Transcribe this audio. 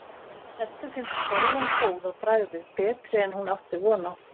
Eddu finnst bollan góð á bragðið, betri en hún átti von á.